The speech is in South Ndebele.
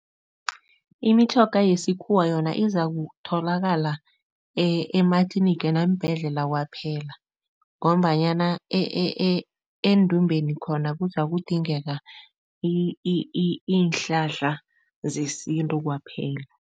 Imitjhoga yesikhuwa yona izakutholakala ematliniga neembhedlela kwaphela ngombanyana endumbeni khona kuzakudingeka iinhlahla zesintu kwaphela.